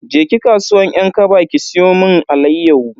Je ki kasuwan 'yan kaba ki siyo mun alayyahu.